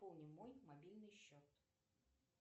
пополни мой мобильный счет